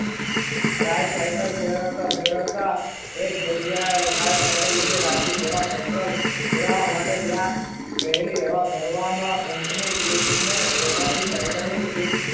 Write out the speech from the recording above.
ગાય cycle ફેરવતા ફેરવતા એક જગ્યાએ cycle ઉભી રાખી. ફેરવવા માટે ત્યાં રહેલી હવા ભરવામાં પંપની tube ને પોતાની cycle ની સીટ પંપની હવા